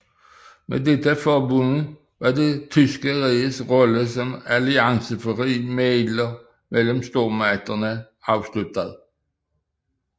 Med dette forbund var det tyske riges rolle som alliancefri mægler mellem stormagterne afsluttet